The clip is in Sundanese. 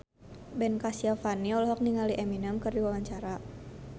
Ben Kasyafani olohok ningali Eminem keur diwawancara